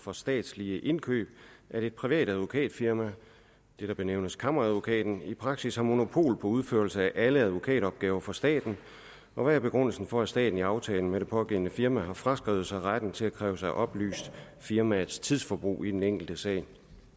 for statslige indkøb at et privat advokatfirma det der benævnes kammeradvokaten i praksis har monopol på udførelse af alle advokatopgaver for staten og hvad er begrundelsen for at staten i aftalen med det pågældende firma har fraskrevet sig retten til at kræve sig oplyst firmaets tidsforbrug på den enkelte sag